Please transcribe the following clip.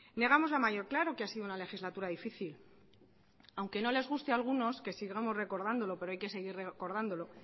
negamos la mayor claro que ha sido una legislatura difícil aunque no les guste a algunos que sigamos recordándolo pero hay que seguir recordándolo